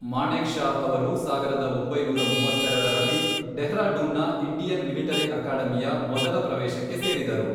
ಮಾಣೆಕ್ ಷಾ ಅವರು ಸಾವಿರದ ಒಂಬೈನೂರ ಮೂವತ್ತೆರೆಡರಲ್ಲಿ ಡೆಹ್ರಾಡೂನ್ನ ಇಂಡಿಯನ್ ಮಿಲಿಟರಿ ಅಕಾಡೆಮಿಯ ಮೊದಲ ಪ್ರವೇಶಕ್ಕೆ ಸೇರಿದರು.